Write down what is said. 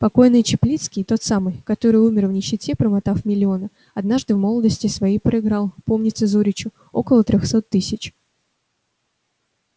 покойный чаплицкий тот самый который умер в нищете промотав миллионы однажды в молодости своей проиграл помнится зоричу около трёхсот тысяч